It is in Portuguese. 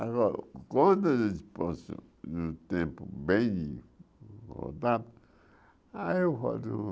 Agora, quando a disposição do tempo bem